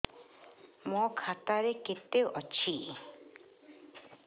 ମୋ ଖାତା ରେ କେତେ ଅଛି